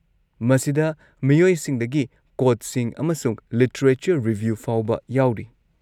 ꯃꯁꯤꯗ ꯃꯤꯑꯣꯏꯁꯤꯡꯗꯒꯤ ꯀꯣꯠꯁꯤꯡ ꯑꯃꯁꯨꯡ ꯂꯤꯇꯔꯦꯆꯔ ꯔꯤꯕ꯭ꯌꯨ ꯐꯥꯎꯕ ꯌꯥꯎꯔꯤ꯫